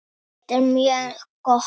Þetta er mjög gott.